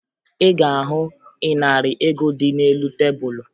Ị ga-ahụ ịnarị ego dị n'elu tebulu